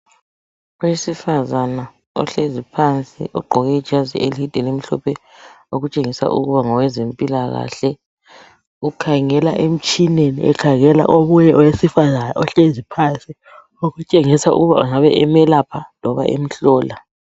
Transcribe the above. Owesifazana ohlezi phansi ogqoke ijazi elide elimhlophe okutshengisa ukuba ngowezempilakahle ukhangela emtshineni, ekhangela omunye owesifazana ohlezi phansi okutshengisa ukuba engaba emelapha loba emhlola.